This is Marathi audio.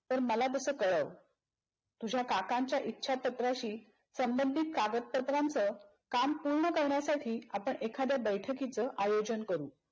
तर मला तस कळव. तुझ्या काकांचं इच्छापत्राशी संभंधित कागदपत्रांच काम पूर्ण करण्यासाठी आपण एखाद्या बैठकीच आयोजन करू.